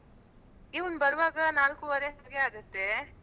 ಇವ್ನು ಬರುವಾಗ ನಾಲ್ಕುವರೆ ಹಾಗೆ ಆಗುತ್ತೆ.